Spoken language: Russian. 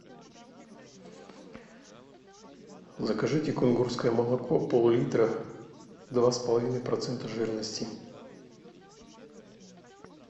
закажите кунгурское молоко пол литра два с половиной процента жирности